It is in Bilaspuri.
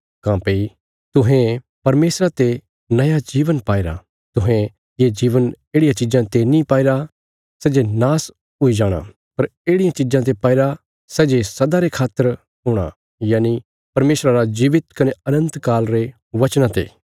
काँह्भई तुहें परमेशरा ते नया जीवन पाईरा तुहें ये जीवन येढ़ियां चीजां ते नीं पाईरा सै जे नाश हुई जाणा पर येढ़ियां चीजां ते पाईरा सै जे सदा रे खातर हूणा यनि परमेशरा रा जीवित कने अनन्तकाल रे वचना ते